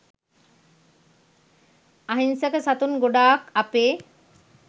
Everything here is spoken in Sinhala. අහිංසක සතුන් ගොඩාක් අපේ